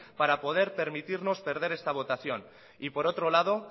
para poder permitirnos perder esta votación y por otro lado